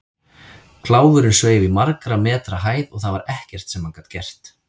Kláfurinn sveif í margra metra hæð og það var ekkert sem hann gat gert.